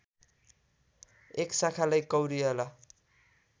एक शाखालाई कौरियाला